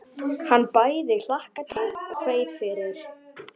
Hann bæði hlakkaði til og kveið fyrir.